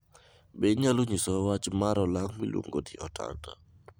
Be inyalo nyisowa wach mar olang' miluongo ni otanda